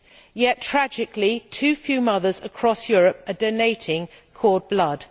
Yet tragically, too few mothers across Europe are donating cord blood.